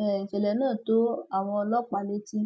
um ìṣẹlẹ náà tó àwọn ọlọpàá létí